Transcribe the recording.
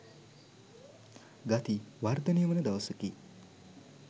ගති වර්ධනය වන දවසකි.